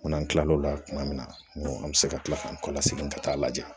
Ko n'an kila l'o la kuma min na an bɛ se ka kila ka n kɔ la segin ka taa a lajɛ